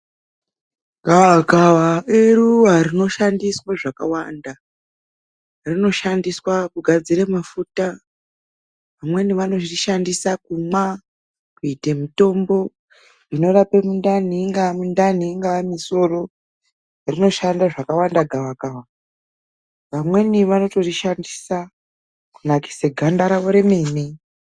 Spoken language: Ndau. Gawakawa iruwa rinoshandiswa zvakawanda. Rinoshandiswa kugadzira mafuta. Amweni anorishandisa kumwa kuite mitombo inorapa mungawa mundani, ingawa misoro, rinoshanda zvakawanda gawakawa. Vamweni vanotorishandisa kunakisa ganda rawo remene.